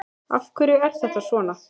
Af hverju er þetta svona?